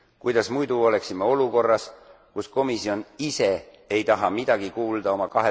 Kuidas muidu oleksime olukorras, kus komisjon ise ei taha midagi kuulda oma